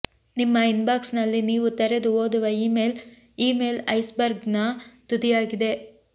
ನಿಮ್ಮ ಇನ್ಬಾಕ್ಸ್ನಲ್ಲಿ ನೀವು ತೆರೆದು ಓದುವ ಇಮೇಲ್ ಇಮೇಲ್ ಐಸ್ಬರ್ಗ್ನ ತುದಿಯಾಗಿದೆ